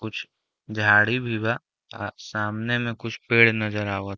कुछ झाड़ी भी बा। आ सामने में कुछ पेड़ नज़र आवत --